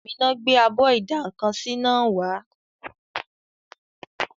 Àmíná gbé abọ́ ìdá-nǹkan-sí náà wá